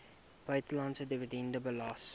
buitelandse dividend belas